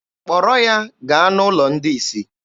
Kpọrọ ya gaa n'ụlọ ndị isi!